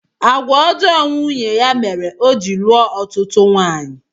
Àgwà ọjọọ nwunye ya mere o ji lụọ ọtụtụ nwaanyị